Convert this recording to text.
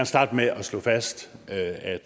starte med at slå fast at